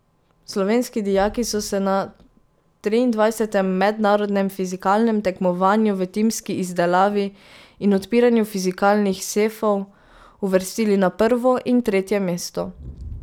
Slovenski dijaki so se na triindvajsetem mednarodnem fizikalnem tekmovanju v timski izdelavi in odpiranju fizikalnih sefov uvrstili na prvo in tretje mesto.